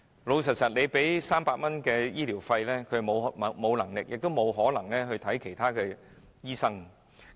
老實說，單靠300元的醫療資助，他們根本沒有能力亦不可能向其他醫生求診。